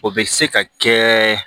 O bɛ se ka kɛ